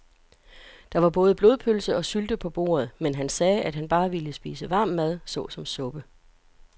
Der var både blodpølse og sylte på bordet, men han sagde, at han bare ville spise varm mad såsom suppe.